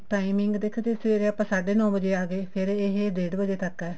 timing ਦੇਖੋ ਜੇ ਸਵੇਰੇ ਆਪਾਂ ਸਾਢੇ ਨੋ ਵਜੇ ਆਗੇ ਫ਼ੇਰ ਇਹ ਡੇਡ ਵਜੇ ਤੱਕ ਹੈ